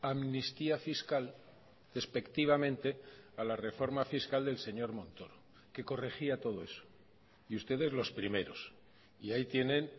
amnistía fiscal despectivamente a la reforma fiscal del señor montoro que corregía todo eso y ustedes los primeros y ahí tienen